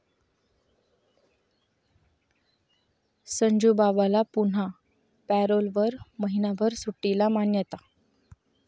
संजूबाबाला पुन्हा पॅरोलवर महिनाभर सुट्टीला 'मान्यता'